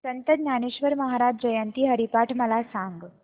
संत ज्ञानेश्वर महाराज जयंती हरिपाठ मला सांग